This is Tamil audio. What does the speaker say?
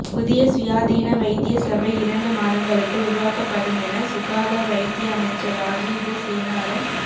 புதிய சுயாதீன வைத்திய சபை இரண்டு மாதங்களுக்குள் உருவாக்கப்படுமென சுகாதா வைத்திய அமைச்சர் ராஜித சேனார